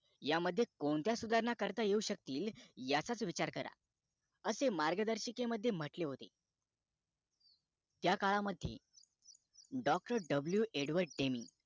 ह्या मध्ये कोणत्या सुधारणा करता येऊ शकतील याचाच विचार करा असे मार्गदर्शिके मध्ये म्हटले होते त्या कला मध्ये Dr. W. Advort Deni